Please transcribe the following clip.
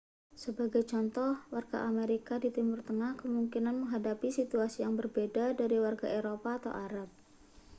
sebagai contoh warga amerika di timur tengah kemungkinan menghadapi situasi yang berbeda dari warga eropa atau arab